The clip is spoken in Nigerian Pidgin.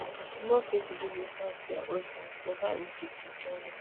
no fit do witout dia husbands oga nkeki tell me